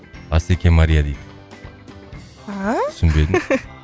асеке мария дейді түсінбедім